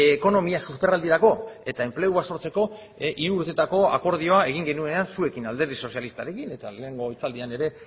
ekonomia susperraldirako eta enplegua sortzeko hiru urtetako akordioa egin genuenean zuekin alderdi sozialistarekin eta lehenengo hitzaldian ere